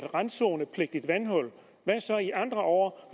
randzonepligtige vandhuller og hvad så i andre år